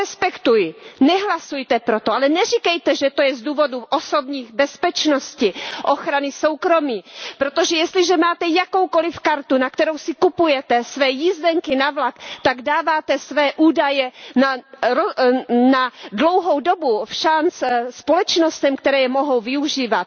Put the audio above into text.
Já je respektuji, nehlasujte pro to, ale neříkejte, že je to z důvodů osobní bezpečnosti, ochrany soukromí, protože jestliže máte jakoukoli kartu, na kterou si kupujete své jízdenky na vlak, tak dáváte své údaje na dlouhou dobu všanc společnostem, které je mohou využívat.